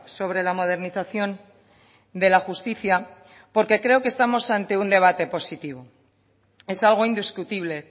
sobre la modernización de la justicia porque creo que estamos ante un debate positivo es algo indiscutible